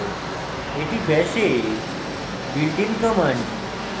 এটি bash a built in command